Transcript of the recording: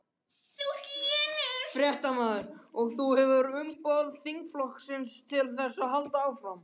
Fréttamaður: Og þú hefur fullt umboð þingflokksins til þess að halda áfram?